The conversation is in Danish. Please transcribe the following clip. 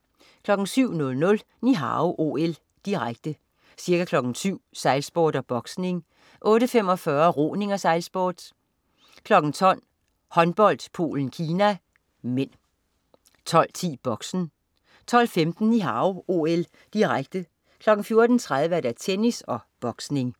07.00 Ni Hao OL, direkte. Ca. kl. 7.00: Sejlsport og boksning, kl. 8.45: Roning og sejlsport, kl. 12.00 Håndbold: Polen-Kina (m) 12.10 Boxen 12.15 Ni Hao OL, direkte. kl. 14.30: Tennis og boksning